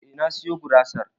Eh na siyo gurasar